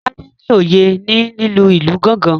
Tade ní oyé ní lílu ilù gangan